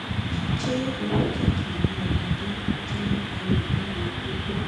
jíjẹ́ olókìkí ni ọmọdé jẹ́ ẹrù wúwo púpọ̀